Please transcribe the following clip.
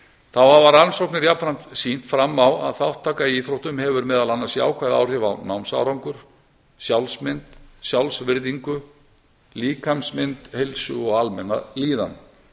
þá hafa rannsóknir jafnframt sýnt fram á að þátttaka í íþróttum hefur meðal annars jákvæð áhrif á námsárangur sjálfsmynd sjálfsvirðingu líkamsmynd heilsu og almenna líðan